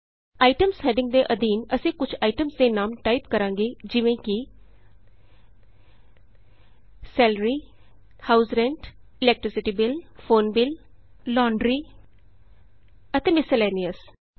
ITEMS heading ਦੇ ਅਧੀਨ ਅਸੀਂ ਕੁਝ ਆਈਟਮਸ ਦੇ ਨਾਮ ਟਾਈਪ ਕਰਾਂਗੇ ਜਿਵੇਂ ਕਿ salary house rent electricity bill phone bill ਅਤੇ ਮਿਸਲੇਨੀਅਸ